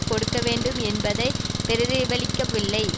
கொடுக்கவேண்டும் என்பதை பிரதிபலிக்கவில்லை